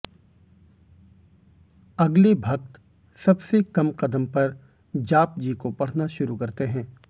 अगले भक्त सबसे कम कदम पर जापजी को पढ़ना शुरू करते हैं